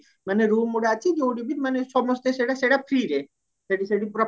ମାନେ room ଗୁଡା ଅଛି ଯୋଉଠି ବି ମାନେ ସମସ୍ତେ ସେଟ ସେଟ freeରେ ସେଠି ସେଠି ପୁରା